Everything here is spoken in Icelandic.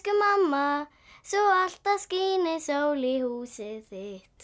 mamma svo alltaf skíni sól í húsið þitt